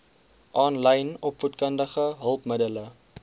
aanlyn opvoedkundige hulpmiddele